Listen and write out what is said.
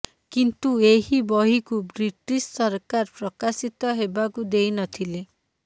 କିନ୍ତୁ ଏହି ବହିକୁ ବ୍ରିଟିଶ୍ ସରକାର ପ୍ରକାଶିତ ହେବାକୁ ଦେଇନଥିଲେ